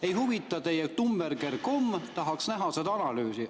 Ei huvita teie ai-tummeri-ker-kommeri-ker, tahaks näha seda analüüsi.